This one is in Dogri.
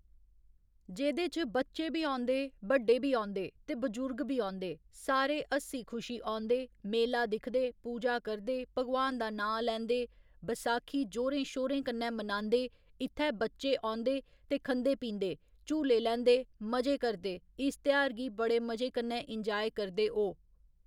जेह्दे च बच्चे बी औंदे बड्डे बी औंदे ते बजुर्ग बी औंदे सारे हस्सी खुशी औँदे मेला दिखदे पूजा करदे भगवान दा नांऽ लैंदे बैसाखी जोरें शोरें कन्नै मनांदे इत्थै बच्चे औंदे दे खंदे पींदे झूले लैंदे मजे करदे इस तेहार गी बड़े मजे कन्नै इंजाय करदे ओह्